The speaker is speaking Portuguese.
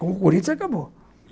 Com o Corinthians acabou.